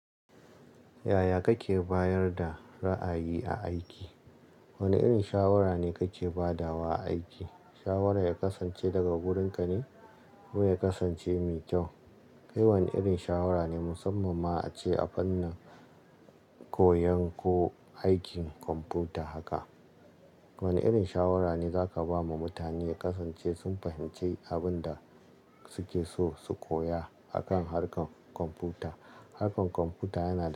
Yaya kake bayar da ra'ayi a aiki? Wane irin shawara ne kake ba da wa a aiki? Shawara ya kasance daga wurinka ne? Ko ya kasance mai kyau? Kai wane irin shawara ne musamman ma ace a fannin koyon ko aikin kwamfuta haka. Wane irin shawara ne za ka ba ma mutane ya kasance sun fahimci abin da suke so su koya a kan harkar kwamfuta. Harkar kwamfuta yana da.